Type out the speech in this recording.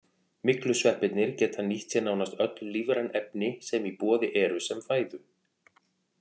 Myglusveppirnir geta nýtt sér nánast öll lífræn efni sem í boði eru sem fæðu.